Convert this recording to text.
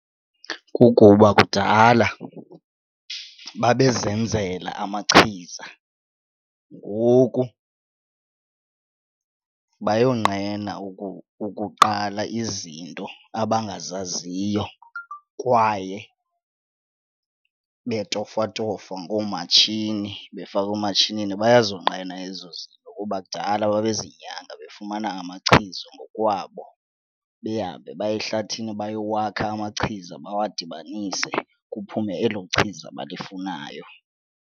Kukuba kudala babezenzela amachiza ngoku bayonqena ukuqala izinto abangazaziyo kwaye betofwatofwa ngoomatshini, befakwa ematshinini. Bayazonqena ezo zinto kuba kudala babezinyanga befumana amachiza ngokwabo, behambe baye ehlathini bayowakha amachiza bawadibanise kuphume elo chiza balifunayo.